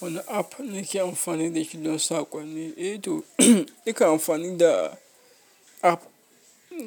Wani app nake amfani da shi don saƙonni? Eh to, nakan amfani da app